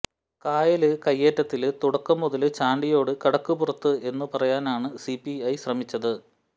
കായല് കൈയേറ്റത്തില് തുടക്കം മുതല് ചാണ്ടിയോട് കടക്ക് പുറത്ത് എന്നു പറയാനാണ് സിപിഐ ശ്രമിച്ചത്